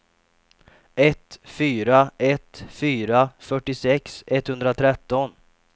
ett fyra ett fyra fyrtiosex etthundratretton